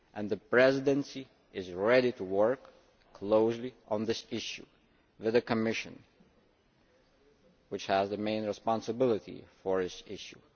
The Presidency is ready to work closely on this issue with the Commission, which has the main responsibility for this issue.